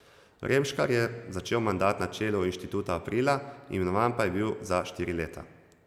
Remškar je začel mandat na čelu inštituta aprila, imenovan pa je bil za štiri leta.